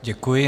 Děkuji.